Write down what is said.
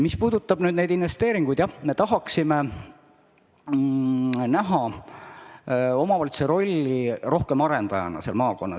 Mis puudutab investeeringuid, siis jah, me tahaksime näha omavalitsuse rolli rohkem arendajana seal maakonnas.